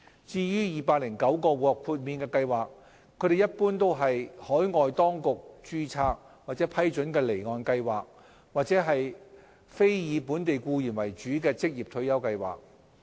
至於209個獲豁免計劃，他們一般為海外當局註冊或批准的離岸計劃或非以本地僱員為主的職業退休計劃。